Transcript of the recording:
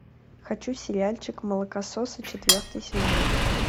хочу сериальчик молокососы четвертый сезон